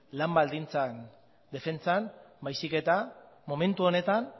lan baldintzen defentsan baizik eta momentu honetan